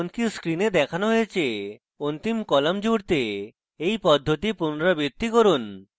যেমনকি screen দেখানো হয়েছে অন্তিম কলাম জুড়তে এই পদ্ধতি পুনরাবৃত্তি করুন